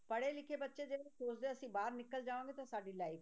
ਪੜ੍ਹੇ ਲਿਖੇ ਬੱਚੇ ਜਿਹੜੇ ਸੋਚਦੇ ਆ ਅਸੀਂ ਬਾਹਰ ਨਿਕਲ ਜਾਵਾਂਗੇ ਤੇ ਸਾਡੀ life